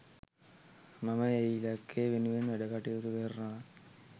මම ඒ ඉලක්කය වෙනුවෙන් වැඩකටයුතු කරනවා.